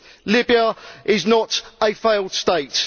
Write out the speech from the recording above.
Libya is not a failed state.